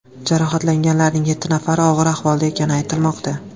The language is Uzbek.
Jarohatlanganlarning yetti nafari og‘ir ahvolda ekani aytilmoqda.